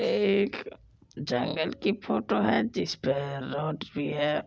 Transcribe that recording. ये एक जंगल की फोटो है जिस पे रोड भी है ।